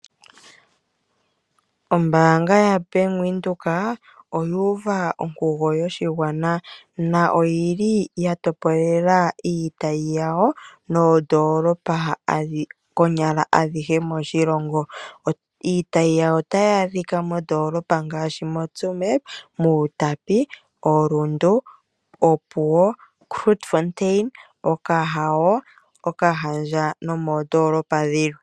Ombaanga yaBank Windhoek oyuuva onkugo yoshigwana na oyili ya topolela iitayi yawo moondolopa konyala adhihe moshilongo. Iitayi yawo otayi adhika moondolopa ngaashi moTsumeb, Outapi, Rundu, Opuwo, Grootfontein, Okahao, Okahandja nomondoolopa dhilwe.